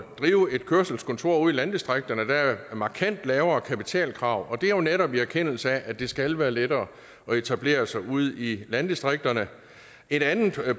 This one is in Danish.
drive et kørselskontor ude i landdistrikterne der er markant lavere kapitalkrav og det er jo netop i erkendelse af at det skal være lettere at etablere sig ude i landdistrikterne et andet